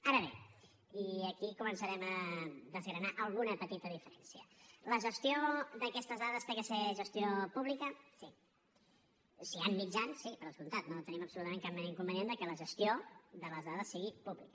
ara bé i aquí començarem a desgranar alguna petita diferència la gestió d’aquestes dades ha de ser gestió pública sí si hi han mitjans sí per descomptat no tenim absolutament cap mena d’inconvenient que la gestió de les dades sigui pública